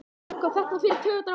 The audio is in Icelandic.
Þetta fer í taugarnar á mér.